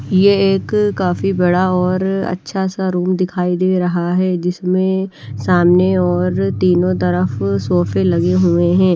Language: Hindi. ये एक काफी बड़ा और अच्छा सा रूम दिखाई दे रहा है जिसमें सामने और तीनों तरफ सोफे लगे हुए हैं।